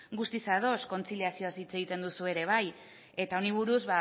guztiz ados kontziliazioaz hitz egiten duzu ere bai eta honi buruz